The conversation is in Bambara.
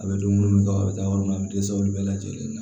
A bɛ dumuni kɛ a bɛ taa yɔrɔ min na a bɛ dɛsɛ olu bɛɛ lajɛlen na